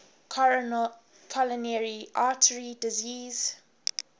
coronary artery disease